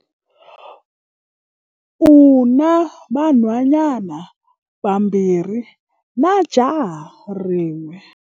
U na vanhwanyana vambirhi na jaha rin'we.